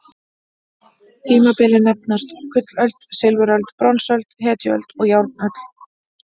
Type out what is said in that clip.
Tímabilin nefnast: gullöld, silfuröld, bronsöld, hetjuöld og járnöld.